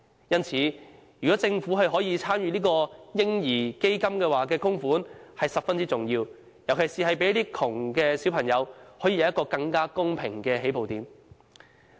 因此，政府參與這個"嬰兒基金"的供款是十分重要的，尤其可讓貧窮的小朋友有一個更公平的起步點。